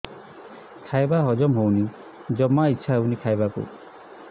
ଖାଇବା ହଜମ ହଉନି ଜମା ଇଛା ହଉନି ଖାଇବାକୁ